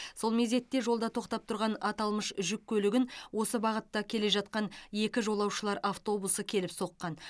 сол мезетте жолда тоқтап тұрған аталмыш жүк көлігін осы бағытта келе жатқан екі жолаушылар автобусы келіп соққан